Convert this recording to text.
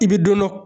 I bɛ dɔ dɔn